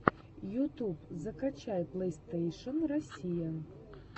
ютуб закачай плейстейшен россия